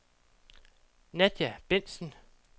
Nadia Bentzen